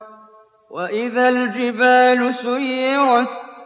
وَإِذَا الْجِبَالُ سُيِّرَتْ